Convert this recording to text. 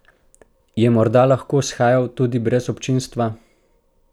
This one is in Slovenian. Je morda lahko shajal tudi brez občinstva?